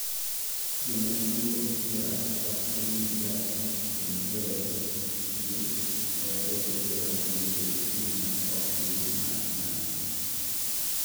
jomatuwoga oktimniga chemotherapy gi/kata radiotherapy nikech tumors okgin mag kansa